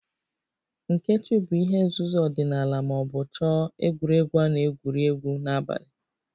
Nkechu bụ ihe nzuzo ọdịnala ma ọ bụ chọọ egwuregwu a na-egwuri egwu n'abalị